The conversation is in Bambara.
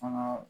Fana